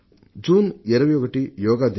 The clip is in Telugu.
జూన్ 21న యోగా దినం